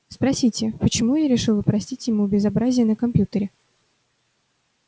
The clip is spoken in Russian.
спросите почему я решила простить ему безобразие на компьютере